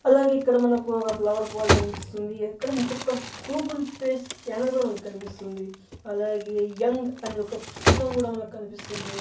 అలాగే ఇక్కడ మనకు ఒక ఫ్లవర్ పాట్ కనిపిస్తుంది ఎక్కడ మనకు గూగుల్ పే స్కానర్ కుడా మనకు కనిపిస్తుంది అలాగే యంగ్ అనే ఒక పుస్తకం కుడా మనకు కనిపిస్తుంది.